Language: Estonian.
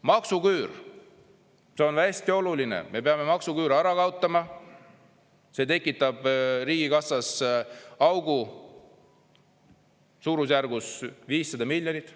Maksuküür, see on hästi oluline, me peame maksuküüru ära kaotama, see tekitab riigikassas augu suurusjärgus 500 miljonit.